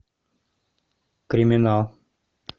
криминал